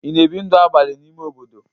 Ị na-ebi ndụ abalị n'ime obodo?